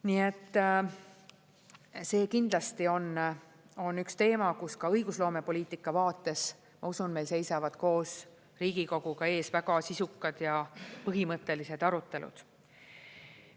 Nii et see kindlasti on üks teema, kus ka õigusloomepoliitika vaates, ma usun, meil seisavad koos Riigikoguga ees väga sisukad ja põhimõttelised arutelud.